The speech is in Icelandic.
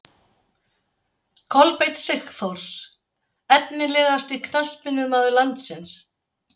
Kolbeinn Sigþórs Efnilegasti knattspyrnumaður landsins?